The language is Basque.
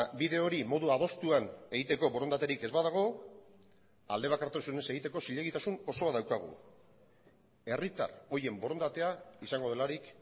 bide hori modu adostuan egiteko borondaterik ez badago aldebakartasunez egiteko zilegitasun osoa daukagu herritar horien borondatea izango delarik